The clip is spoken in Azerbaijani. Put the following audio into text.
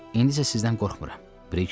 İndi isə sizdən qorxmuram.